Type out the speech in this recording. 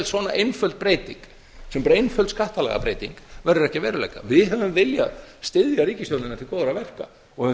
svona einföld breyting sem er bara einföld skattalagabreyting verður ekki að veruleika við höfum viljað styðja ríkisstjórnina til góðra verka og höfum þess